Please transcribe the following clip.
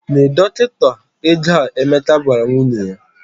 "Nye dọkịta ego a," Emeka gwara nwunye ya.